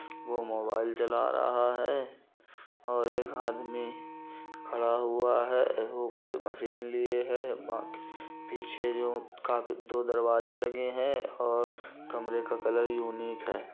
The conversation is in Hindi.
वो मोबाईल चला रहा है और एक हादमी खड़ा हुआ है वो कोई मशीन लिए है बां पीछे जो का दो दरवाजे लगे है और कमरे का कलर यूनीक है।